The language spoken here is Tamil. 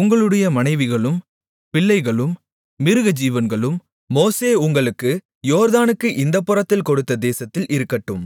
உங்களுடைய மனைவிகளும் பிள்ளைகளும் மிருகஜீவன்களும் மோசே உங்களுக்கு யோர்தானுக்கு இந்தப்புறத்திலே கொடுத்த தேசத்தில் இருக்கட்டும்